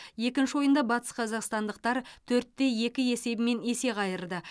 екінші ойында батысқазақстандықтар төртте екі есебімен есе қайырды